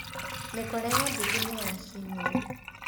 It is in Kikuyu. Mĩkora ya nduthi nĩyacinũo.